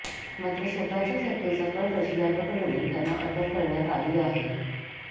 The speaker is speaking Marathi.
मात्र स्वतःच्याच हत्येचा कट रचल्याप्रकरणी त्यांना अटक करण्यात आली आहे